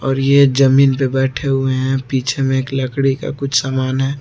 और ये जमीन पर बैठे हुए हैं पीछे में एक लकड़ी का कुछ सामान है।